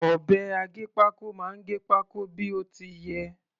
Ọ̀bẹ aggépákó máa gẹ pákó bí ó ti yẹ.